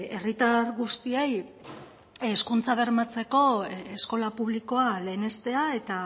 herritar guztiei hezkuntza bermatzeko eskola publikoa lehenestea eta